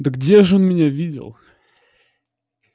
да где ж он меня видел